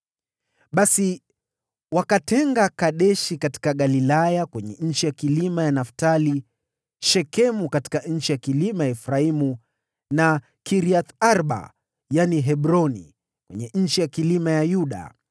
Basi wakatenga Kedeshi katika Galilaya kwenye nchi ya vilima ya Naftali, Shekemu katika nchi ya vilima ya Efraimu, na Kiriath-Arba (yaani Hebroni) kwenye nchi ya vilima ya Yuda.